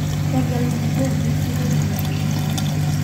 tegelu nabo nisirrie ilairemok